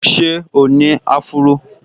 Ṣé o ní áfúró?